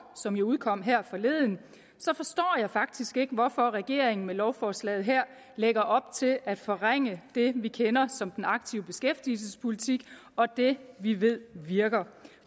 som jo udkom her forleden forstår jeg faktisk ikke hvorfor regeringen med lovforslaget her lægger op til at forringe det vi kender som den aktive beskæftigelsespolitik og det vi ved virker